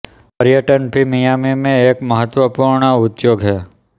पर्यटन भी मियामी में एक महत्वपूर्ण उद्योग है